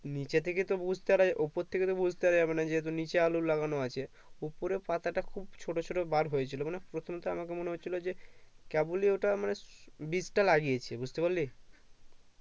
নিচে থেকে তো বুজতে পারা ওপর থেকে তো বুজতে পারা যাবেন যেহেতু নিচে আলু লাগানো আছে ওপরের পাতা তা খুব ছোট ছোট বার হয়েছিল মানে প্রথম তা আমার মনে হয়েছিল যে কেবলই ওটা মানে বীজ তা লাগিয়েছে বুজতে পারলি